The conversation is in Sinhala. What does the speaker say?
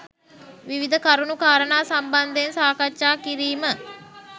විවිධ කරුණු කාරණා සම්බන්ධයෙන් සාකච්ඡා කිරීම